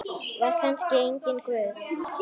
Var kannski enginn Guð?